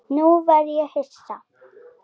Nú verð ég hissa.